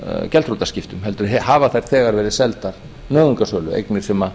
gjaldþrotaskiptum heldur hafa þær þegar verið seldar nauðungarsölu eignir sem